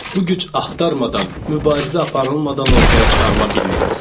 Bu güc axtarmadan, mübarizə aparılmadan ortaya çıxarıla bilməz.